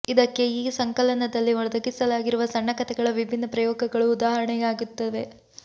ಇದಕ್ಕೆ ಈ ಸಂಕಲನದಲ್ಲಿ ಒದಗಿಸಲಾಗಿರುವ ಸಣ್ಣ ಕತೆಗಳ ವಿಭಿನ್ನ ಪ್ರಯೋಗಗಳು ಉದಾಹರಣೆಯಾಗುತ್ತವೆ